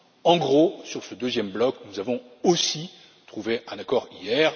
En gros, sur ce deuxième bloc, nous avons aussi trouvé un accord hier.